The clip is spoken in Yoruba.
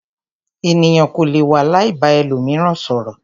Ènìyàn kò lè wà láì ba ẹlòmíràn sọ̀rọ̀.